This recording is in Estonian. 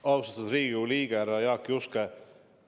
Austatud Riigikogu liige härra Jaak Juske!